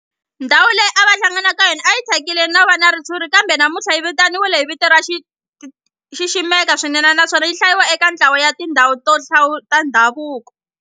Ndhawu leyi a va hlangana ka yona a yi thyakile no va na ritshuri kambe namuntlha yi vitaniwa hi vito ro xiximeka swinene naswona yi hlayiwa eka ntlawa wa tindhawu ta ndhavuko.